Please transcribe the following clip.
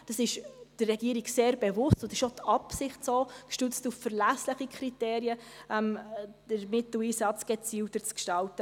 Dies ist der Regierung sehr bewusst, und es ist auch die Absicht, den Mitteleinsatz gestützt auf verlässliche Kriterien gezielter zu gestalten.